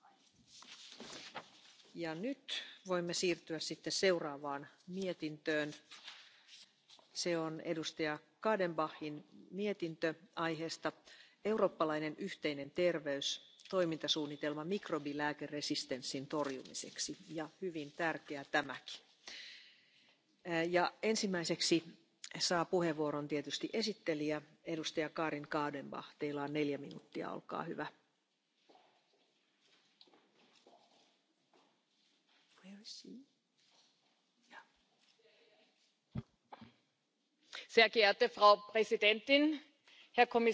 erreicht. Maßnahmen zur Bewusstseinsbildung, health literacy bessere Aus und Weiterbildung für alle im Gesundheitsbereich Tätigen vorantreiben und die Entwicklung und der Einsatz von Diagnostika Schnelltests, neue und alternative Medikamente und Behandlungen, die Bedeutung von Prävention und Immunisierung, neue Geschäftsmodelle als Anreiz für die Industrie, der flächendeckende Zugang sowie die Verfügbarkeit von Antibiotika sollen nur ein paar der Handlungsfelder, die wir in unserem Bericht angesprochen haben, aufdecken. An dieser Stelle möchte ich mich bei allen, die hier so konstruktiv und intensiv mitgearbeitet haben, ganz herzlich bedanken bei den Schattenberichterstattern im Umweltausschuss, aber auch bei den Kolleginnen und Kollegen in den mitberatenden